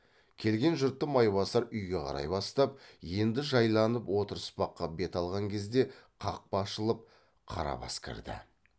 келген жұртты майбасар үйге қарай бастап енді жайланып отырыспаққа бет алған кезде қақпа ашылып қарабас кірді